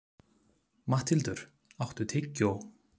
Matthildur, áttu tyggjó?